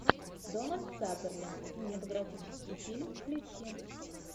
дональд сазерленд кинематографический фильм включи